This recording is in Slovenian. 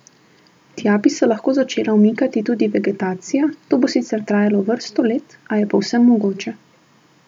Tja bi se lahko začela umikati tudi vegetacija, to bo sicer trajalo vrsto let, a je povsem mogoče.